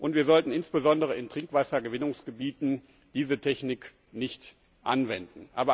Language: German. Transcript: Wir sollten insbesondere in Trinkwassergewinnungsgebieten diese Technik nicht anwenden.